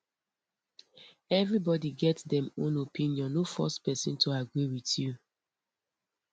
everybody get dem own opinion no force pesin to agree with you